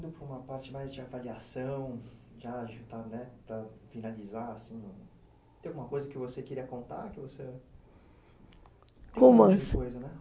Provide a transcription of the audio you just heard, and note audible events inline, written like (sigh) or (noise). indo para uma parte mais de avaliação, de ajudar para finalizar, assim, tem alguma coisa que você queria contar? (unintelligible)